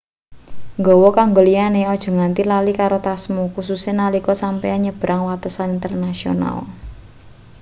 nggawa kanggo liyane aja nganti lali karo tasmu kususe nalika sampeyan nyebrang watesan internasional